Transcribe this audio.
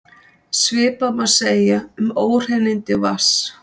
Svipað má segja um óhreinindi vatns.